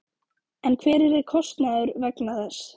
En hver yrði kostnaður vegna þess?